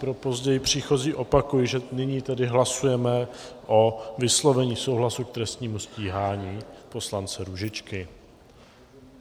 Pro později příchozí opakuji, že nyní tedy hlasujeme o vyslovení souhlasu k trestnímu stíhání poslance Růžičky.